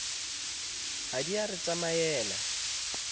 ha di a re tsamaela